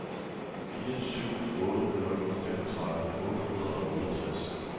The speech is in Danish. fire syv otte nul femogtredive otte hundrede og otteogtres